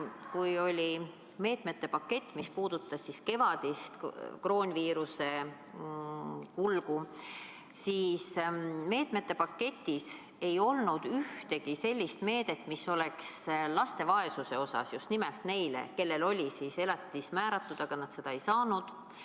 Kui võeti vastu meetmete pakett, mis puudutas kevadist koroonaviiruse kulgu, siis selles paketis ei olnud ühtegi sellist meedet, mis oleks suunatud laste vaesusele – just nimelt neile, kellele oli määratud elatis, aga nad seda ei saanud.